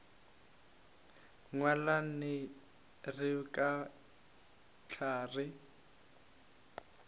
nyalane re ka hlwa re